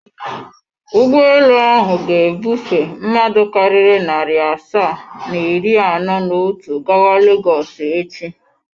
Ụgbọelu ahụ ga-ebufe mmadụ karịrị narị asaa na iri anọ na otu gawa Legọs echi.